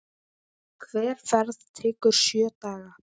Hver ferð tekur sjö daga.